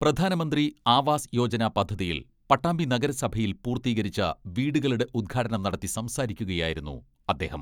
പ്രധാനമന്ത്രി ആവാസ് യോജന പദ്ധതിയിൽ പട്ടാമ്പി നഗരസഭയിൽ പൂർത്തീകരിച്ച വീടുകളുടെ ഉദ്ഘാടനം നടത്തി സംസാരിക്കുകയായിരുന്നു അദ്ദേഹം.